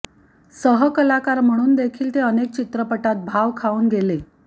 सहकलाकार म्हणून देखील ते अनेक चित्रपटांत भाव खाऊन गेले